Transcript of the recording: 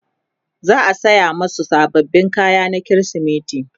za'a saya masu sababbin kaya na krismeti